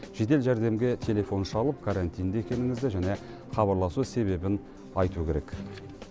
жедел жәрдемге телефон шалып карантинде екеніңізді және хабарласу себебін айту керек